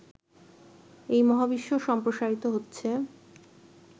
এই মহাবিশ্ব সম্প্রসারিত হচ্ছে